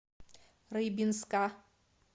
рыбинска